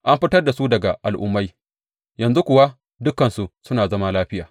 An fitar da su daga al’ummai, yanzu kuwa dukansu suna zama lafiya.